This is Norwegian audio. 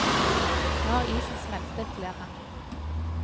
Nå er isen smeltet, ler han.